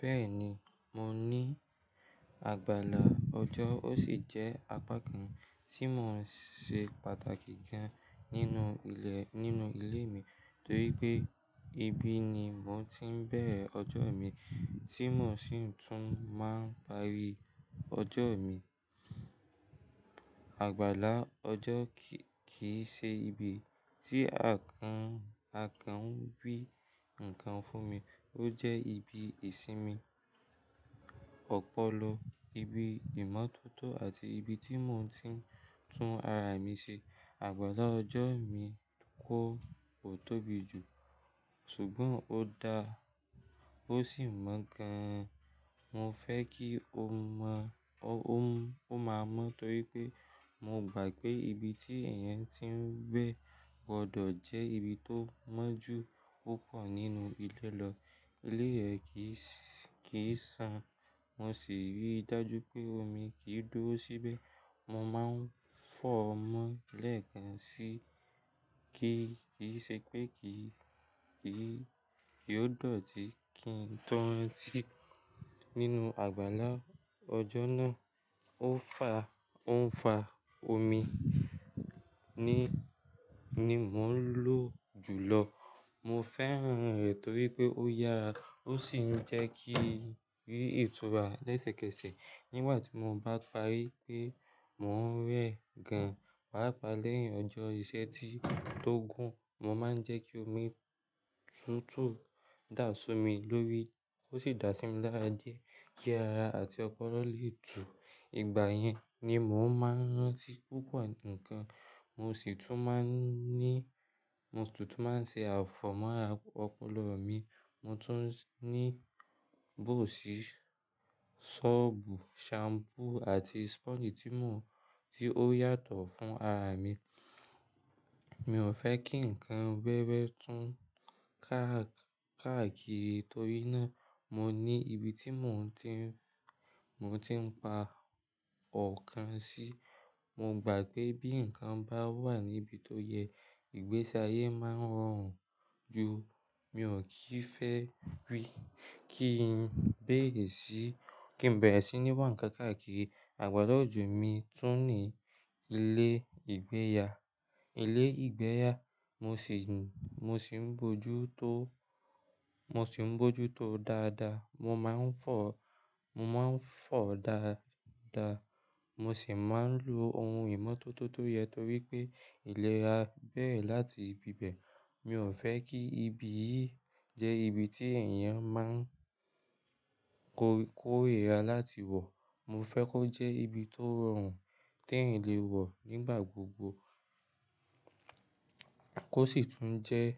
Bẹ́ẹ̀ni, mo ní àgbàlá ọjọ́, ó sì jẹ́ apá kan tí mò ń ṣe pàtàkì gan nínú ilẹ̀, nínú ilé mi torí pé ibí ni mò ń tí ń bẹ̀rẹ̀ ọjọ́ mi tí mò sì tún máa ń parí ọjọ́ mi. Àgbàlá ọjọ́ kì í ṣe ibi tí àkan, àkan ń gbé nǹkan fún mi, ó jẹ́ ibi ìsinmi, ọpọlọ, ibi ìmọ́tótó àti ibi tí mò ń tí ń tún ara mi ṣe. Àgbàlá ọjọ́ mi kó ò tóbi jù ṣùgbọ́n ó da, ó sì mọ́ gan-an. Mo fẹ́ kí o mọ, ó máa mọ̀ torí pé mo gbà pé ibi tí ẹ̀yẹn tí ń gbẹ gbọdọ̀ jẹ́ ibi tó mọ́ jù púpọ̀ nínú ilẹ̀ lọ. Ilé rẹ kì í san, mo sì rí i dájú pé omi kì í dúró síbẹ̀. Mo máa ń fọ́ ọ mọ́ lẹ́ẹ̀kan síì kí ì ṣe pé kì í, kì í, kì yóò dọ̀tí kí n tó rantì. Nínú àgbàlá ọjọ́ náà ò fà, ò ń fà omi ni, ni mò ń lò jùlọ. Mo fẹ́ran rẹ̀ torí pé ó yàrá, ó sì ń jẹ́ kí rí ìtura lẹ́sẹ̀kẹsẹ̀. Nígbà tí mo bá parí pé mò ń rẹ gan paápa lẹ́yìn ọjọ́ iṣẹ́ tí tó gún, mo máa ń jẹ́ kí omi tútù dà á só mi lórí. Ó sì dá sí mi lára díẹ̀ kí ara àti ọpọlọ lè tù. Ìgbà yẹn ni mò ń máa ń rántí púpọ̀ nǹkan, mo sì tún máa ń ní, mo sì tún máa ń ṣe àfọ̀ mọ́ ara ọpọlọ mi. Mo tún ní bóòṣì, ṣọ́ọ̀bù, ṣampú àti sponge tí mò ń, tí ó yàtọ̀ fún ara mi. Mi ò fẹ́ kí nǹkan wẹ́wẹ́ tún káàkiri torí náà mò ní ibi tí mò ń tí, mò ń tí ń pa ọ̀kan sí. Mo gbà pé bí nǹkan bá wà níbi tó yẹ, ìgbésáyé máa ń rọrùn ju. Mi ò kíì fẹ́ wí kí n bẹ̀rẹ̀ sí, kí n bẹ̀rẹ̀ sí ní wá ǹkan káàkiri. Àgbàlá ọjọ́ mi tún ní ilé ìgbéyà. Ilé ìgbéyà mò sì ń, mò sì ń bójú tó, mò sì ń bójú tó dáadáa. Mo máa ń fọ, mo máa ń fọ dáadáa. Mo sì máa ń lo ohun ìmọ́tótó toyẹ torí pé ìlera bẹ̀rẹ̀ láti ibi bẹ̀. Mi ò fẹ́ kí ibi yìí jẹ́ ibi tí ẹ̀yàn máa ń kó, kó èèra láti wọ̀. Mo fẹ́ kó jẹ́ ibi tó rọrùn tí èèyàn lè wọ̀ nígbà gbogbo. Kó sì tún jẹ́,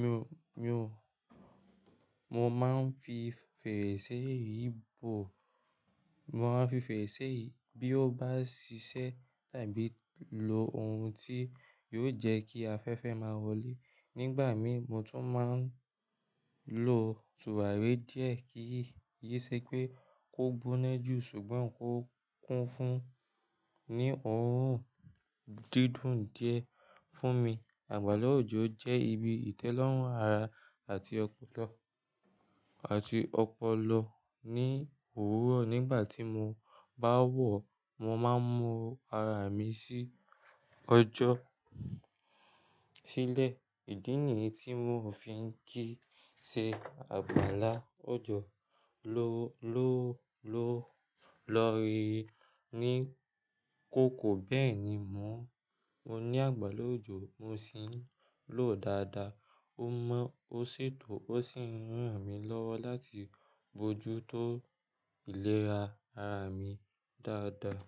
mi ò, mi ò, mo máa ń fi fèrèsé yìí bò, mo máa ń fi fèrèsé yìí bí ó bá ṣiṣẹ́ tàbí lo ohun tí yóò jẹ́ kí afẹ́fẹ́ máa wọlé. Nígbà mi mò tún máa ń lo tùwàré díẹ̀ kí ì ṣe pé kó gbóná jù ṣùgbọ́n kó kún fún, ní òórùn dídùn díẹ̀ fún mi. Àgbàlá ọjọ́ jẹ́ ibi ìtẹ́lọ́rùn ara àti ọpọlọ, àti ọpọlọ ní òwúrọ̀ nígbà tí mo bá wọ̀, mo máa ń mu ara mi sí ọjọ́ sílẹ̀. Ìdí nìyí tí mò ń fi ń kì í ṣe àgbàlá ọjọ́ ló, ló, ló, lọ́ri, ní kòkò. Bẹ́ẹ̀ ni mò ń ní àgbàlá ọjọ́, mò sì ń lò ó dáadáa. Ó mọ́, ó sì tọ́, ó sì ń ràn mí lọ́wọ́ láti bojútó ìlera ara mi dáadáa.